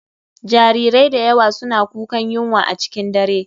Jarirai da yawa suna kukan yunwa a cikin dare.